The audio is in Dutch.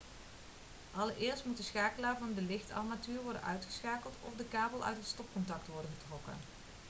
allereerst moet de schakelaar van de lichtarmatuur worden uitgeschakeld of de kabel uit het stopcontact worden getrokken